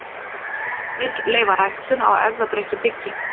Vill leyfa ræktun á erfðabreyttu byggi